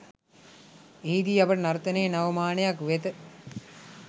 එහිදී අපට නර්තනයේ නව මානයක් වෙත